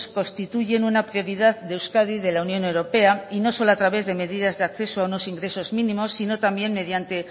constituyen una prioridad de euskadi y de la unión europea y no solo a través de medidas de acceso a unos ingresos mínimos sino también mediante